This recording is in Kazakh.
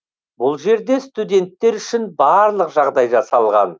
бұл жерде студенттер үшін барлық жағдай жасалған